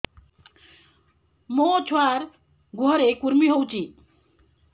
ମୋ ଛୁଆର୍ ଗୁହରେ କୁର୍ମି ହଉଚି